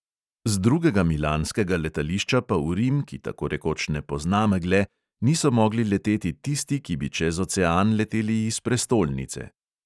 Z drugega milanskega letališča pa v rim, ki tako rekoč ne pozna megle, niso mogli leteti tisti, ki bi čez ocean leteli iz prestolnice.